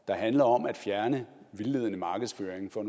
der handler om at fjerne vildledende markedsføring for